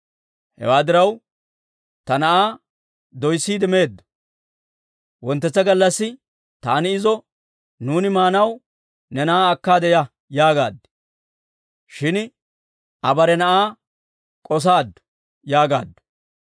Hewaa diraw, ta na'aa doyssiide meedo; wonttetsa gallassi taani izo, ‹Nuuni maanaw ne na'aa akkaade ya› yaagaad. Shin Aa bare na'aa k'osaaddu» yaagaaddu.